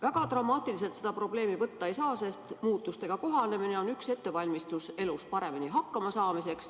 Väga dramaatiliselt seda probleemi võtta ei saa, sest muutustega kohanemine on üks viis valmistuda elus paremini hakkama saama.